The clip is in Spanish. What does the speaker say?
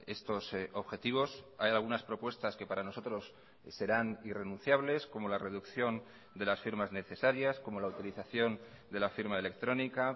estos objetivos hay algunas propuestas que para nosotros serán irrenunciables como la reducción de las firmas necesarias como la utilización de la firma electrónica